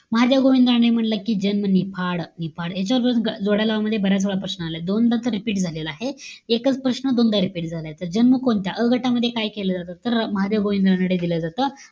महादेव गोविंद रानडे म्हणलं कि जन्म, निफाड. निफाड. याच्यावर जोड्या लावा मध्ये बऱ्यचवेळा प्रश्न आलाय. दोनदा तर repeat झालेला आहे. एकच प्रश्न दोनदा repeat झालाय. तर जन्म कोणत्या? अ गटामध्ये काय केलं जात? तर, महादेव गोविंद रानडे दिलं जात.